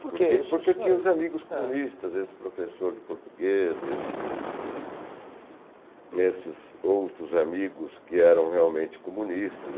Porque? Porque tinha os amigos comunistas, esse professor de português, esses outros amigos que eram realmente comunistas.